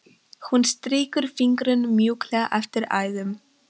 Hún strýkur fingrunum mjúklega eftir æðunum.